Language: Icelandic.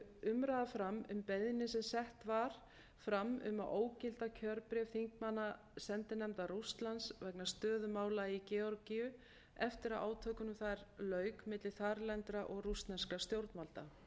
umræða fram um beiðni sem sett var fram um að ógilda kjörbréf þingmannasendinefndar rússlands vegna stöðu mála í georgíu eftir að átökunum þar lauk milli þarlendra og rússneskra stjórnvalda